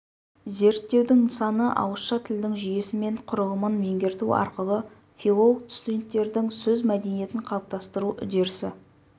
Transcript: зерттеудің нысаны ауызша тілдің жүйесі мен құрылымын меңгерту арқылы филолог-студенттердің сөз мәдениетін қалыптастыру үдерісі